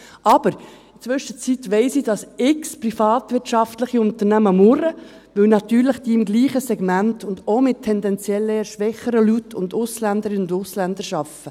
Aber in der Zwischenzeit weiss ich, dass x privatwirtschaftliche Unternehmen murren, weil diese natürlich im gleichen Segment und auch mit tendenziell eher schwächeren Leuten und Ausländerinnen und Ausländern arbeiten.